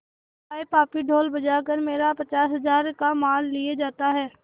हाय पापी ढोल बजा कर मेरा पचास हजार का माल लिए जाता है